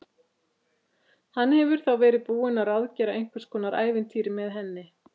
Hann hefur þá verið búinn að ráðgera einhvers konar ævintýri með henni!